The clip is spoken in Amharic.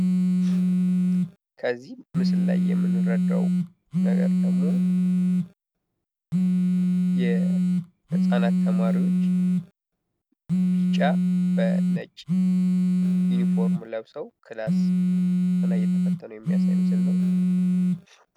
ከዚህ ምስል ላይ የምንረዳው ነገር ደግሞ የህጻናት ተማሪዎች ቢጫ በነጭ ዩኒፎርም ለብሰው ክላስ ፈተና እየተፈተኑ የሚያሳይ ምስል ነው።